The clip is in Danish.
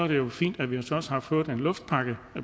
jo fint at vi også har fået en luftpakke